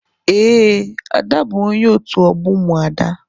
Ee, Ada bu onye otu ogbo umuada.